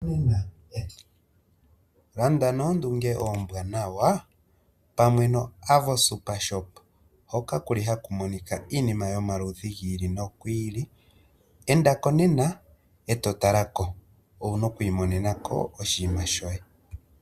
Landa noondunge ombwanawa pamwe noAvo Supershop hoka ku li haku monika iinima yomaludhi gi li nogi ili, enda ko nena eto tala ko owuna okuiimonena ko oshinima shoye.